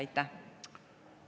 Aitäh!